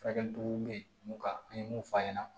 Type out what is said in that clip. Furakɛli cogo bɛ mun kan an ye mun f'a ɲɛna